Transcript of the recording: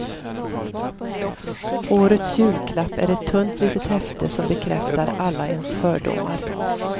Årets julklapp är ett tunt litet häfte som bekräftar alla ens fördomar.